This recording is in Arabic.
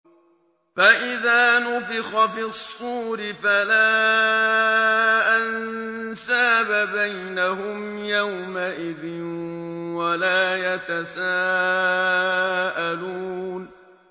فَإِذَا نُفِخَ فِي الصُّورِ فَلَا أَنسَابَ بَيْنَهُمْ يَوْمَئِذٍ وَلَا يَتَسَاءَلُونَ